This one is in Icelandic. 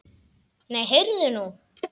Nei, heyrðu nú!